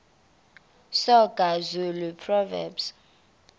soga zulu proverbs